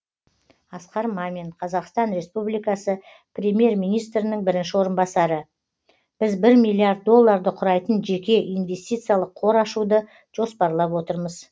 асқар мамин қазақстан республикасы премьер министрінің бірінші орынбасары біз бір миллиард долларды құрайтын жеке инвестициялық қор ашуды жоспарлап отырмыз